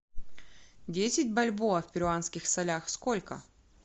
десять бальбоа в перуанских солях сколько